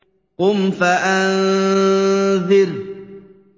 قُمْ فَأَنذِرْ